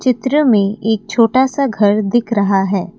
चित्र में एक छोटा सा घर दिख रहा है ।